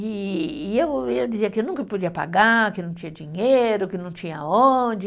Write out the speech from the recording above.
E e eu, eu dizia que eu nunca podia pagar, que não tinha dinheiro, que não tinha onde.